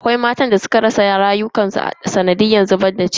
Akwai matan da suka rasa rayukansu a sanadiyan zubar da ciki.